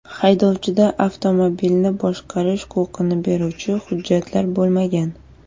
Haydovchida avtomobilni boshqarish huquqini beruvchi hujjatlar bo‘lmagan.